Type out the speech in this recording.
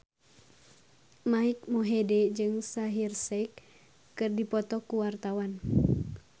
Mike Mohede jeung Shaheer Sheikh keur dipoto ku wartawan